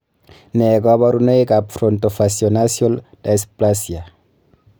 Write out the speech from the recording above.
Nee kabarunoikab Frontofacionasal dysplasia?